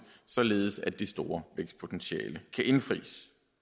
således at det store vækstpotentiale kan indfries